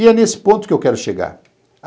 E é nesse ponto que eu quero chegar.